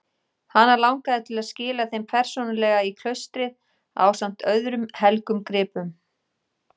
Hana langaði til að skila þeim persónulega í klaustrið ásamt öðrum helgum gripum.